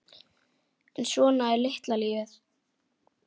En svona er litla lífið.